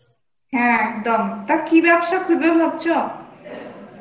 হ্যাঁ , একদম টা কি ব্যবসা করবে ভাবছ ?